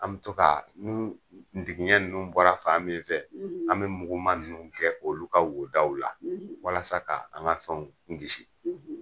An bɛ to kaa nn ndigiɲɛ ninnu bɔra fan min fɛ, an bɛ muguma ninnu kɛ olu ka wo daw la walasa ka an ka fɛnw kisi.